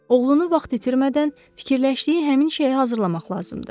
Oğlunu vaxt itirmədən fikirləşdiyi həmin işə hazırlamaq lazımdı.